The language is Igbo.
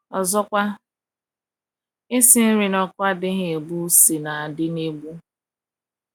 Ọzọkwa, isi nri n’ọkụ adịghị egbu ụsí na - adị n’ebu.